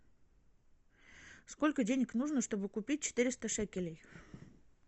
сколько денег нужно чтобы купить четыреста шекелей